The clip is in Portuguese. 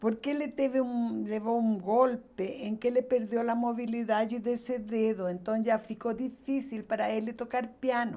Porque ele teve um, levou um golpe em que ele perdeu a mobilidade desse dedo, então já ficou difícil para ele tocar piano.